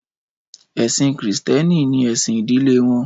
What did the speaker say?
Ẹ̀sìn Krístẹ́nì ni ẹ̀sìn ìdílé wọn